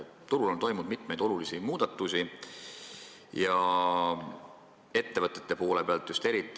Turul on toimunud olulisi muutusi, eriti just ettevõtete poolel.